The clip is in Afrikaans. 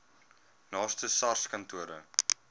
naaste sars kantoor